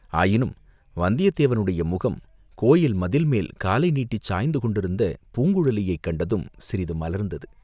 ஆயினும் வந்தியத்தேவனுடைய முகம், கோயில் மதில் மேல் காலை நீட்டிச் சாய்ந்து கொண்டிருந்த பூங்குழலியைக் கண்டதும் சிறிது மலர்ந்தது.